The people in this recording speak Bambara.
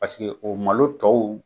Paseke o malo dɔw